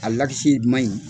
A ma ɲi.